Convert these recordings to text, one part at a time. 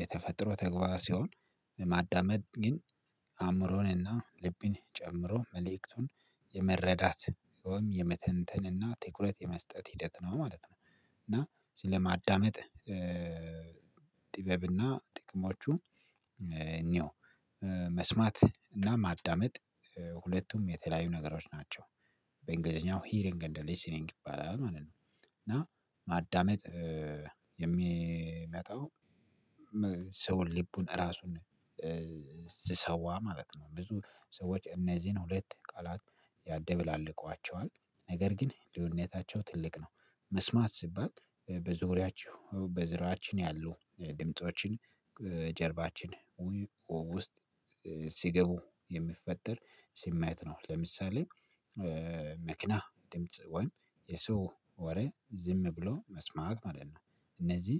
የተፈጥሮ ተግባራ ሲሆን። ማዳመጥ ግን አእምሮን እና ልብን ጨምሮ መልእክቱን ወይም የመተንተን ወይም እና ትኩረት የመስጠት ሂደት ነው ማለት ነው። እና ስለማዳመጥ ጥበብ አሰና ጥቅሞቹ እንየው መስማት እና ማዳመጥ ሁለቱም የተለያዩ ነገሮች ናቸው። በእንግሊዘኛው ሂሪንግ እንደ ሊሲንግ ይባላል ማለት ነው። እና ማዳመጥ የሚመጣው ሰውን ልቡን ራሱን ሲሰዋ ማለት ነው። ብዙ ሰዎች እነዚህን ሁለት ቃላት ያደባለቋቸዋል ነገር ግን ልዩነታቸው ትልቅ ነው። መስማት ሲባል በዙሪያችሁ በዙሪያችን ያሉ ድምፆችን ጀርባችን ውስጥ ሲገቡ የሚፈጠር ስሜት ነው። ለምሳሌ መኪና ድምጽ ወይም የሰው ወሬ ዝም ብሎ መስማት ማለት ነው። እነዚህ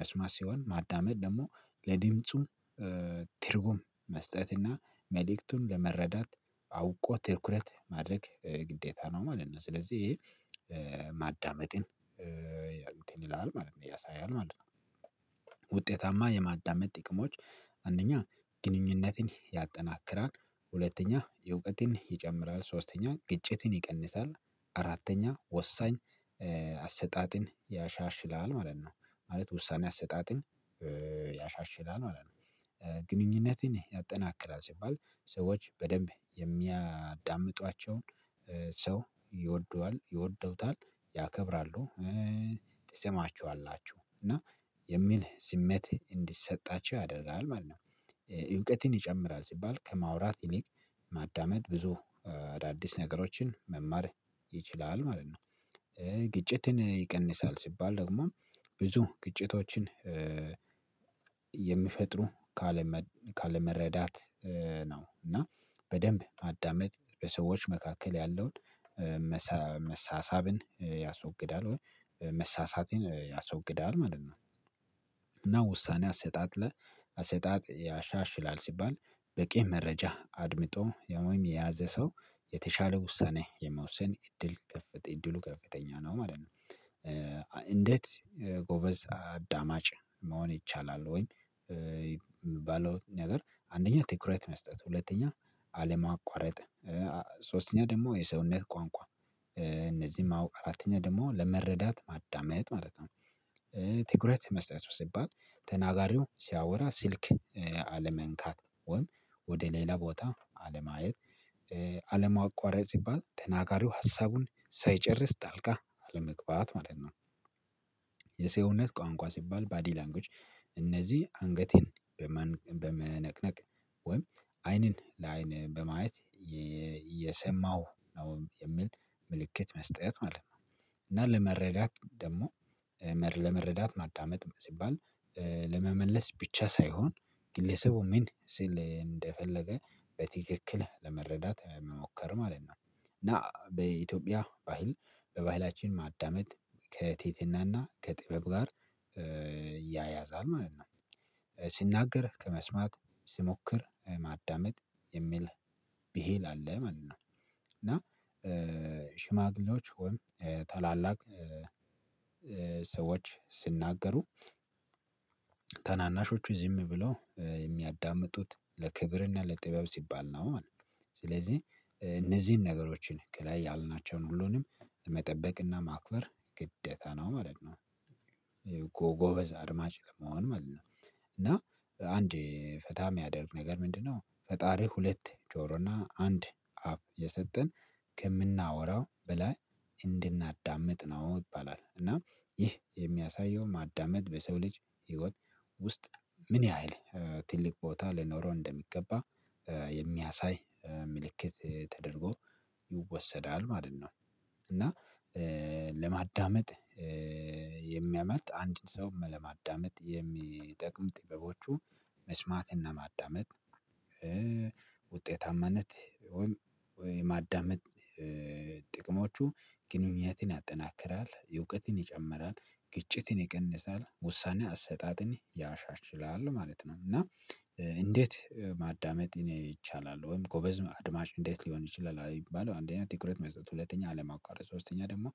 መስማት ሲሆን ማዳመጥ ደግሞ ለድምፁም ትርጉም መስጠት እና መልእክቱም ለመረዳት አውቆ ትርኩረት ማድረግ ግዴታ ነው ማለት ነው። ስለዚህ ይሄ ማዳመጥን ያንተን ይላል ማለት ነው ያሳያል ማለት ነው። ውጤታማ የማዳመጥ ጥቅሞች አንደኛ ግንኙነቴን ያጠናክራል ሁለተኛ የእውቀትን ይጨምራል ሶስተኛ ግጭትን ይቀንሳል። አራተኛ ወሳኝ አሰጣጥን ያሻሽላል ማለት ነው። ማለት ውሳኔ አሰጣጥን ያሻሽላል ማለት ግንኙነቴን ያጠናክራል ሲባል ሰዎች በደንብ የሚያዳምጧቸውን ይወደዋል ይወደውታል ያከብራሉ። ትሰማቸዋላችሁ እና የሚል ስሜት እንዲሰጣቸው ያደርጋል ማለት ነው። እውቀትን ይጨምራል ሲባል ከማውራት ይልቅ ማዳመጥ ብዙ አዳዲስ ነገሮችን መማር ይችላል ማለት ነው። ግጭትን ይቀንሳል ሲባል ደግሞ ብዙ ግጭቶችን የሚፈጥሩ ካለመረዳት ነው። እና በደንብ ማዳመጥ በሰዎች መካከል ያለውን መሳሳብን ያስወግዳል ወይ መሳሳቴን ያስወግዳል ማለት ነው። እና ውሳኔ አሰጣጥ ለ አሰጣጥ ያሻሽላል ሲባል በቂ መረጃ አድምጦ ወይም የያዘ ሰው የተሻለ ውሳኔ የመወሰን እድሉ ከፍተኛ ነው ማለት ነው። እንዴት ጎበዝ አዳማጭ መሆን ይቻላል? ወይ የሚባለው ነገር አንደኛ ትኩረት መስጠት ሁለተኛ አለማቋረጥ ሶስተኛ ደግሞ የሰውነት ቋንቋ እነዚህም ማወቅ አራተኛውም ደግሞ ለመረዳት ማዳመጥ ማለት ነው። ትኩረት መስጠት ሲባል ተናጋሪው ሲያወራ ስልክ አለመንካት ወይም ወደ ሌላ ቦታ አለማየት አለማቋረጥ ሲባል ተናጋሪው ሀሳቡን ሳይጨርስ ጣልቃ አለመግባት ማለት ነው። የሰውነት ቋንቋ ሲባል ባዲ ላንጉኤጅ እነዚህ አንገቴን በመነቅነቅ ወይም አይንን ለአይን በማየት የሰማው ነው የሚል ምልክት መስጠት ማለት ነው። እና ለመረዳት ደግሞ ለመረዳት ማዳመጥ ሲባል ለመመለስ ብቻ ሳይሆን ግለሰቡ ምን ስል እንደፈለገ በትክክል ለመረዳት መሞከር ማለት ነው። እና በኢትዮጵያ ባህል በባህላችን ማዳመጥ ከትህትናና ከጥበብ ጋር ያያዛል ማለት ነው። ሲናገር ከመስማት ሲሞክር ማዳመጥ የሚል ብሂል አለ ማለት ነው። እና ሽማግሌዎች ወይም ታላላቅ ሰዎች ስናገሩ ታናናሾቹ ዝም ብለው የሚያዳምጡት ለክብር እና ለጥበብ ሲባል ነው ማለት ነው። ስለዚህ እነዚህን ነገሮችን ከላይ ያልናቸውን ሁሉንም መጠበቅ እና ማክበር ግዴታ ነው ማለት ነው። እኮ ጎበዝ አድማጭ ለመሆን ማለት ነው። እና አንድ ፈታ የሚያደርግ ነገር ምንድነው? ፈጣሪ ሁለት ጆሮና አንድ አፍ የሰጠን ከምናወራው ብላ እንድናዳምጥ ነው ይባላል። እና ይህ የሚያሳየውን ማዳመጥ በሰው ልጅ ህይወት ውስጥ ምን ያህል ትልቅ ቦታ ሊኖረው እንደሚገባ የሚያሳይ ምልክት ተደርጎ ይወሰዳል ማለት ነው። እና ለማዳመጥ የሚያመጥ አንድ ሰውም ለማዳመጥ የሚጠቅም ጥበቦቹ መስማት እና ማዳመጥ ውጤታማነት ወይም የማዳመጥ ጥቅሞቹ ግንኙነትን ያጠናክራል የእውቀትን ይጨምራል ግጭትን ይቀንሳል ውሳኔ አሰጣጥን ያሻሽላል ማለት ነው። እና እንዴት ማዳመጥ እኔ ይቻላል ወይም ጎበዝ አድማጭ እንዴት ሊሆን ይችላል? አንደኛ ትኩረት መስጠት ሁለተኛ አለማቋረጥ ሶስተኛ ደግሞ